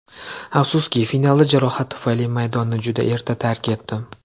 Afsuski, finalda jarohat tufayli maydonni juda erta tark etdim.